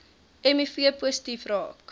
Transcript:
miv positief raak